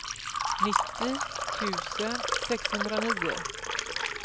nittio tusen sexhundranio